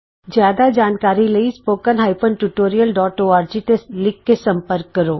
ਜਿਆਦਾ ਜਾਣਕਾਰੀ ਲਈ spoken hyphen tutorial dot org ਤੇ ਲਿਖ ਕੇ ਸੰਪਰਕ ਕਰੋ